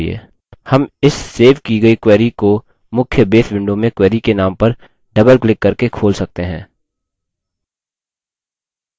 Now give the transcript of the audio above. हम इस सेव की गयी query को मुख्य base window में query के name पर double क्लिक करके खोल सकते हैं